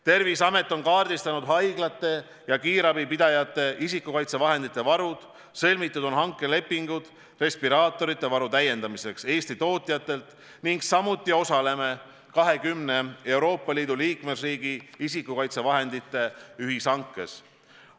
Terviseamet on kaardistanud haiglate ja kiirabipidajate isikukaitsevahendite varud, sõlmitud on hankelepingud respiraatorite varu täiendamiseks Eesti tootjatelt, samuti osaleme 20 Euroopa Liidu liikmesriigi isikukaitsevahendite ühishankes.